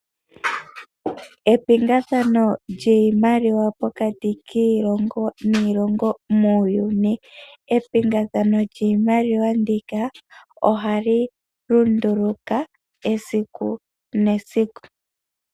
Epingathano lyiimaliwa pokati kiilongo niilongo muuyuni. Epingathano lyiimaliwa ndika oha li lunduluka esiku nesiku.